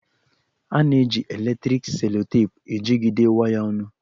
A na-eji eletriki selotepụ ejigide waya ọnụ